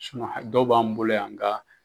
ha dɔw b'an bolo yan nga